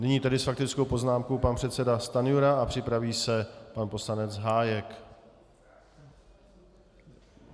Nyní tedy s faktickou poznámkou pan předseda Stanjura a připraví se pan poslanec Hájek.